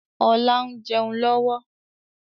Ọlá ń jẹun lọ́wọ́